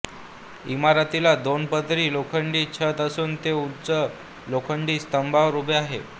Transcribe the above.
इमारतीला दोन पदरी लोखंडी छत असून ते उंच लोखंडी स्तंभांवर उभे आहे